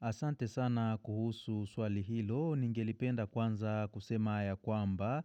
Asante sana kuhusu swali hilo, ningelipenda kwanza kusema ya kwamba,